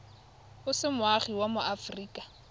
o se moagi wa aforika